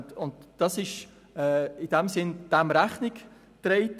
Dem wird in dem Sinn Rechnung getragen.